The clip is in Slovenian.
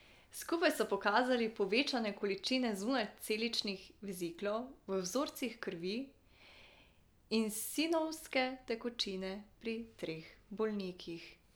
Skupaj so pokazali povečane količine zunajceličnih veziklov v vzorcih krvi in sinovijske tekočine pri teh bolnikih.